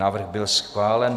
Návrh byl schválen.